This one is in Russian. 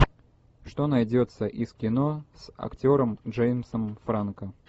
что найдется из кино с актером джеймсом франко